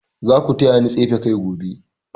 Za ku taya ni tsefe kai gobe.